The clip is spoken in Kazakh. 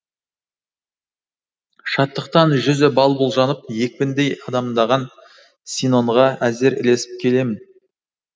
шаттықтан жүзі балбұл жанып екпіндей адамдаған синонға әзер ілесіп келемін